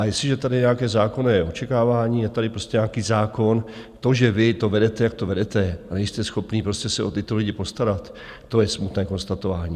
A jestliže je tady nějaké zákonné očekávání, je tady prostě nějaký zákon, to, že vy to vedete, jak to vedete, a nejste schopni prostě se o tyto lidi postarat, to je smutné konstatování.